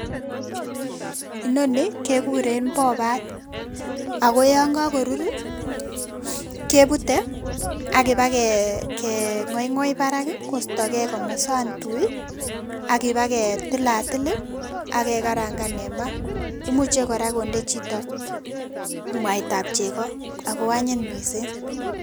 Inoni kekuren Popat ako yon kakorur kebute akipakeng'oing'oi parak kostogee komosan tui akipaketilatil akekarangan en maa, imuche kora konde chito mwaitab cheko ako anyin missing.